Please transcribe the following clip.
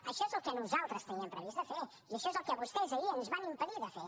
això és el que nosaltres teníem previst fer i això és el que vostès ahir ens van impedir fer